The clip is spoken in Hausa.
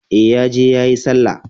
E, ya je yayi Sallah.